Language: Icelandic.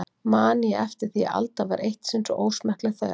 Man ég eftir því að Alda var eitt sinn svo ósmekkleg þegar